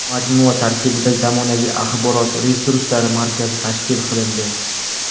Majmua tarkibida zamonaviy axborot-resurs markazi tashkil qilindi.